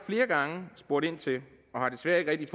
flere gange spurgt ind til det og har desværre ikke